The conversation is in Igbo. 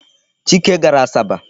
Chike gara Asaba.